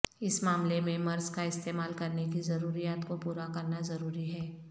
اس معاملے میں مرض کا استعمال کرنے کی ضروریات کو پورا کرنا ضروری ہے